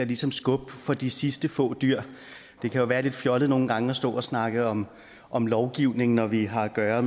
ligesom skubbe på for de sidste få dyr det kan jo være lidt fjollet nogle gange at stå og snakke om om lovgivning når vi har at gøre